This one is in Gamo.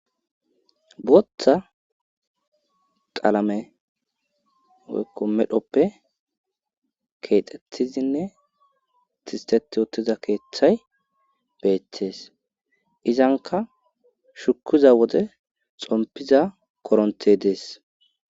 Booththa qaalame woykko medhoppe keexxethizinne tistet ootiza keeththay beettees izanka shukuza wode xompiza koronte dees